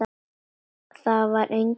Þar var enginn heldur.